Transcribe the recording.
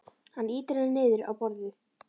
Hann ýtir henni niður á borðið.